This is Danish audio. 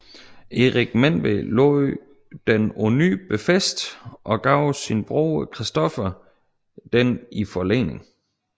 Erik Menved lod den på ny befæste og gav sin broder Christoffer den i forlening